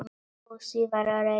Fúsi var reiður.